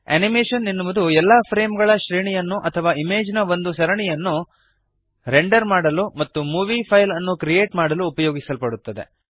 animation ಎನ್ನುವುದು ಎಲ್ಲಾ frame ಗಳ ಶ್ರೇಣಿಯನ್ನು ಅಥವಾ ಇಮೇಜ್ ನ ಒಂದು ಸರಣಿಯನ್ನು ರೆಂಡರ್ ಮಾಡಲು ಮತ್ತು ಮೂವೀ ಫೈಲ್ ಅನ್ನು ಕ್ರಿಯೇಟ್ ಮಾಡಲು ಉಪಯೋಗಿಸಲ್ಪಡುತ್ತದೆ